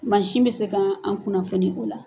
Mansin bɛ se k'an kunnafoniya o la.